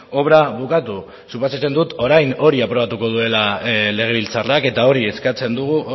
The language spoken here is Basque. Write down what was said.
obra bukatu suposatzen dut orain hori aprobatuko duela legebiltzarrak eta hori eskatzen dugu